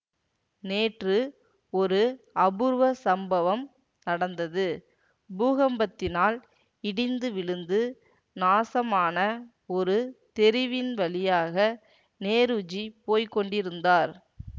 நேற்று ஒரு அபூர்வ சம்பவம் நடந்தது பூகம்பத்தினால் இடிந்து விழுந்து நாசமான ஒரு தெருவின் வழியாக நேருஜி போய் கொண்டிருந்தார்